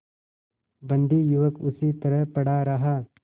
बंदी युवक उसी तरह पड़ा रहा